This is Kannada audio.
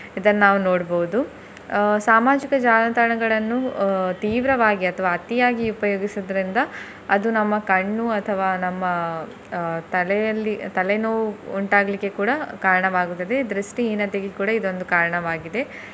ಇದನ್ನ್ ನಾವ್ ನೋಡ್ಬೋದು ಅಹ್ ಸಾಮಾಜಿಕ ಜಾಲತಾಣಗಳನ್ನು ಅಹ್ ತೀವ್ರವಾಗಿ ಅಥವಾ ಅತಿಯಾಗಿ ಉಪಯೋಗಿಸುದ್ರಿಂದ ಅದು ನಮ್ಮ ಕಣ್ಣು ಅಥವಾ ನಮ್ಮ ಅಹ್ ತಲೆಯಲ್ಲಿ ತಲೆ ನೋವು ಉಂಟಾಗ್ಲಿಕ್ಕೆ ಕೂಡ ಕಾರಣವಾಗ್ತದೆ ದೃಷ್ಟಿಹೀನತೆಗೆ ಕೂಡ ಇದೊಂದು ಕಾರಣವಾಗಿದೆ.